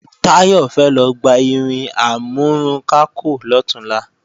Táyọ̀ fẹ́ lọ gba irin amúrunkákò lọ̀túnla